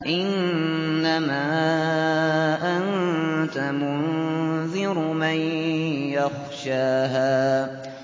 إِنَّمَا أَنتَ مُنذِرُ مَن يَخْشَاهَا